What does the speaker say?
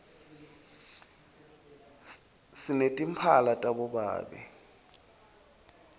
sinetimphala tabobabe